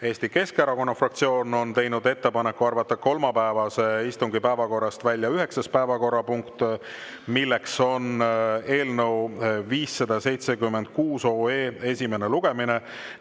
Eesti Keskerakonna fraktsioon on teinud ettepaneku arvata kolmapäevase istungi päevakorrast välja üheksas päevakorrapunkt, milleks on eelnõu 576 esimene lugemine.